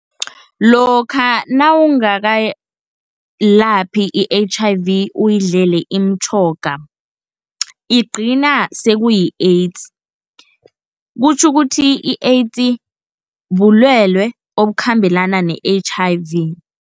Lokha nawungakayilaphi i-H_I_V uyidlele iimtjhoga, igcina sekuyi-AIDS kutjho ukuthi i-AIDS bulwele obukhambelana ne-H_I_V.